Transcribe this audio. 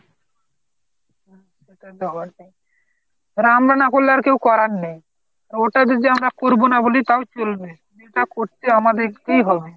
আর আমরা না করলে কেউ করার নেই আর ওটা যদি আমরা করবোনা বলি তাহলে কি করে চলবে এটা করতে আমাদেরকেই হবে